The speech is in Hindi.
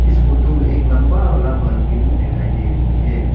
इस फोटो में एक लंबा वाला बालकनी दिखाई दे रही है।